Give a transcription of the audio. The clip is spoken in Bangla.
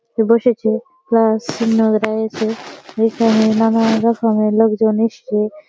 বসেছে সিঙ্গার এসে এখানে নানা রকমের লোকজন এসছে --